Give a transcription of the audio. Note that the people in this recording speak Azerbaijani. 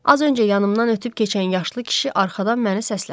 Az öncə yanımdan ötüb keçən yaşlı kişi arxadan məni səslədi.